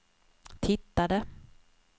tittade